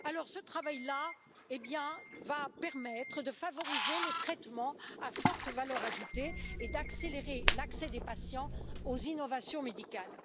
Ce travail là va permettre de favoriser les traitements à forte valeur ajoutée et d'accélérer l'accès des patients aux innovations médicales.